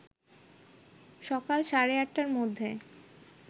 সকাল সাড়ে ৮টার মধ্যে